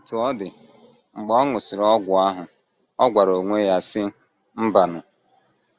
Otú ọ dị, mgbe ọ ṅụsịrị ọgwụ ahụ, ọ gwara onwe ya, sị: ‘ Mbanụ.